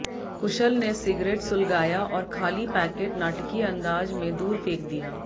कुशल ने सिगरेट सुलगाया और खाली पैकेट नाटकीय अंदाज में दूर फेंक दिया